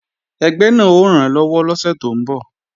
Ẹgbẹ́ náà ó rànlọ́wọ́ lọ́sẹ̀ tó ń bọ̀